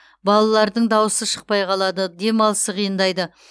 балалардың даусы шықпай қалады демалысы қиындайды